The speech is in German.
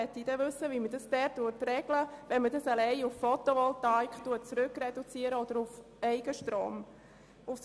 Ich möchte wissen, wie man es regeln kann, wenn man auf Photovoltaik oder auf Eigenstrom reduziert.